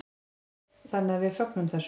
Þannig að við fögnum þessu.